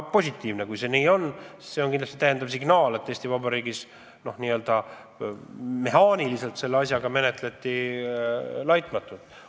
See on kindlasti täiendav signaal, et Eesti Vabariigis n-ö mehaaniliselt seda asja menetleti laitmatult.